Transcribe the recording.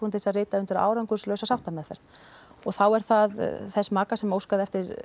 til að rita undir árangurslausa sáttameðferð og þá er það þess maka sem óskaði eftir